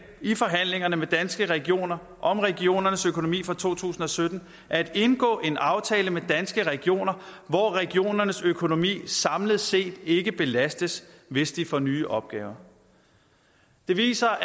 i forhandlingerne med danske regioner om regionernes økonomi for to tusind og sytten at indgå en aftale med danske regioner hvor regionernes økonomi samlet set ikke belastes hvis de får nye opgaver det viser